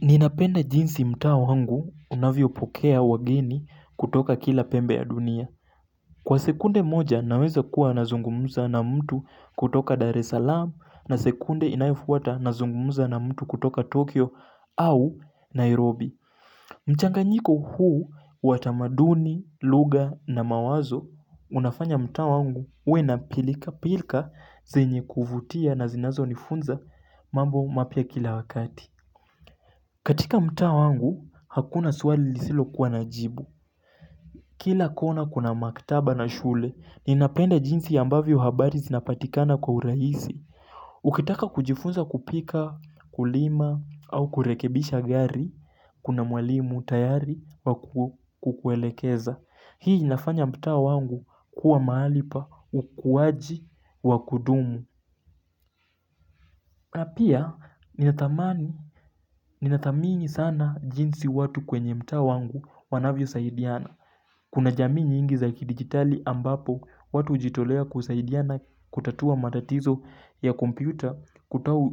Ninapenda jinsi mtaa wangu unavyo pokea wageni kutoka kila pembe ya dunia Kwa sekunde moja naweza kuwa nazungumuza na mtu kutoka Dar es Salaam na sekunde inayofuata nazungumuza na mtu kutoka Tokyo au Nairobi mchanganyiko huu watamaduni, lugha na mawazo Unafanya mtaa wangu uwe na pilika pilika zinye kuvutia na zinazo nifunza mambo mapya kila wakati katika mtaa wangu, hakuna swali lisilo kuwa na jibu. Kila kona kuna maktaba na shule, ninapenda jinsi yambavyo habari zinapatikana kwa uraisi. Ukitaka kujifunza kupika, kulima, au kurekebisha gari, kuna mwalimu, tayari, wa kukuelekeza. Hii inafanya mta wangu kuwa mahali pa ukuwaji wa kudumu. Napia ninatamini sana jinsi watu kwenye mtaa wangu wanavyo saidiana. Kuna jamii nyingi za kidigitali ambapo watu jitolea kusaidiana kutatua matatizo ya kompyuta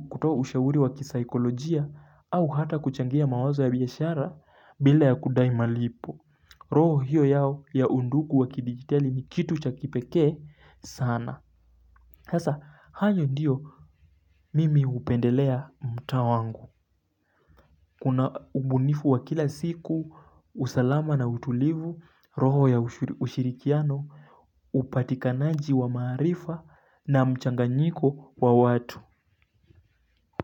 kutoa ushauri wa kisikolojia au hata kuchangia mawazo ya biashara bila ya kudai malipo. Roho hiyo yao ya undugu wakidigitali ni kitu cha kipekee sana hasa, hayo ndiyo mimi hupendelea mtaa wangu Kuna ubunifu wa kila siku, usalama na utulivu, roho ya ushirikiano upatikanaji wa marifa na mchanganyiko wa watu.